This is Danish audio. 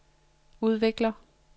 udvikler